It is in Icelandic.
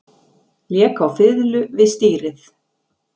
Lék á fiðlu við stýrið